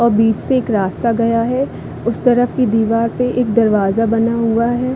और बीचे से एक रास्ता गया है उस तरफ की दिवार पे एक दरवाज़ा बना हुआ है।